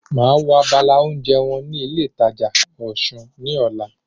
Màá wo abala oúnjẹ wọn ní ilé ìtajà Osun ní ọ̀la